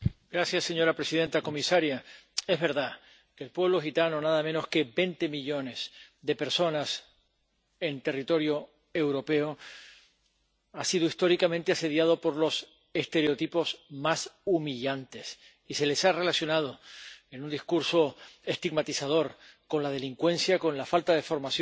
Señora presidenta, señora comisaria, es verdad el pueblo gitano —nada menos que 20 millones de personas en territorio europeo— ha sido históricamente asediado por los estereotipos más humillantes, y se les ha relacionado, en un discurso estigmatizador, con la delincuencia, con la falta de formación